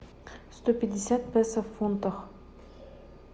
сто пятьдесят песо в фунтах